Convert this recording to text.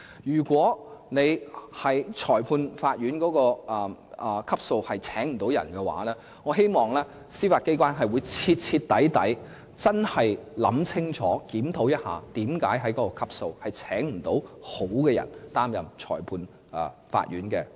如果裁判法院級別未能聘請所需人手，我希望司法機構能夠徹底檢討，為何該級別未能聘請好的人才出任裁判官。